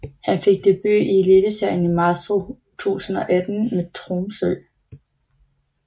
Han fik debut i Eliteserien i marts 2018 mod Tromsø